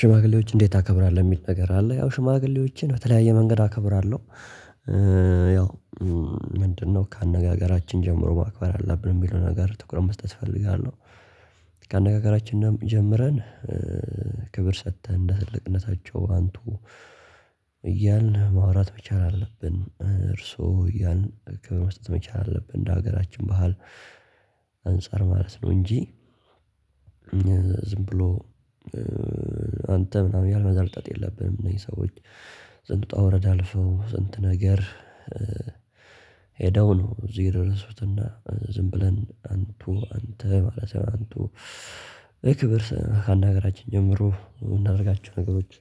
ሽማግሌዎች እንዴት ታከብራለሁ የሚል ነገር አለ ያው ሽማግሌዎችን በተለያየ መንገድ አከብራለሁ። ያው ምንድነው ከአነጋገራችን ጀምሮ ማክበር አለብን የሚለውን ነገር ትኩረት መስጠት እፈልጋለሁ። ከአነጋገራችን ጀምረን ክብር ሰጥተን እንደ ትልቅነታቸው አንቱ። እያልን ማውራት መቻል አለብን እርሶ ያን ክብር መስጠት መቻል አለብን እንደ ሀገራችን ባህል። አንፃር ማለት ነው እንጂ ዝም ብሎ አንተ ምናምን እያልን መዘርጠጥት የለብንም። እኔ ሰዎች ስንት ውጣ ወረዳል ሰው ስንት ነገር። ሄደው ነው እዚህ የደረሱትና ዝም ብለን አንቱ አንተ ማለት አንቱ ክብር ካነጋገራችን ጀምሮ እምናደርጋቸው ነገሮች።